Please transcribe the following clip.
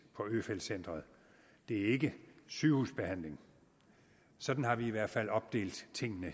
på øfeldt centret det er ikke sygehusbehandling sådan har vi i hvert fald hidtil opdelt tingene